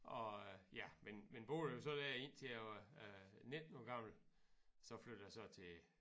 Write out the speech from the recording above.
Og øh ja men men boede så der indtil jeg var 19 år gammel så flyttede jeg så til